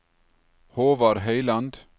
Håvard Høyland